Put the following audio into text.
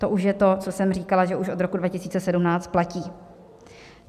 To už je to, co jsem říkala, že už od roku 2017 platí.